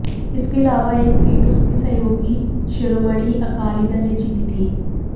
इसके अलावा एक सीट उसकी सहयोगी शिरोमणि अकाली दल ने जीती थी